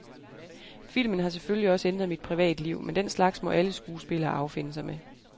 Filmen har selvfølgelig også ændret mit privatliv, men den slags må alle skuespillere affinde sig med.